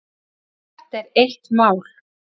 Þetta er eitt mál.